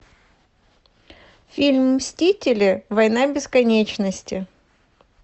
фильм мстители война бесконечности